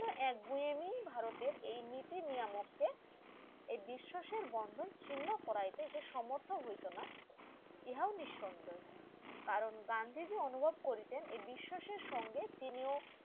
এক গুঁয়েমী ভারতের এই নীতি নিয়ামত কে এই বিশ্বাসের বন্ধন চিহ্ন করাইতে যে সমর্থ হইতনা ইহাও নিঃসন্দেহ কারণ গান্ধীজি অনুরোধ করিতেন এ বিশ্বাসের সঙ্গে তিনিও